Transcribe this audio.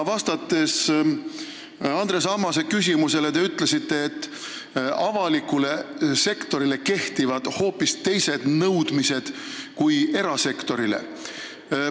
Andres Ammase küsimusele vastates te ütlesite, et avalikule sektorile kehtivad hoopis teised nõudmised kui erasektorile.